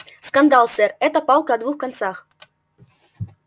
скандал сэр это палка о двух концах